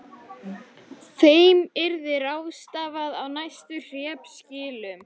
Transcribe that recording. Þeim yrði ráðstafað á næstu hreppskilum.